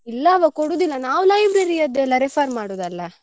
ಇಲ್ಲವ ಕೊಡೂದಿಲ್ಲ ನಾವು library ಯದೆಲ್ಲ refer ಮಾಡುದಲ್ಲಾ.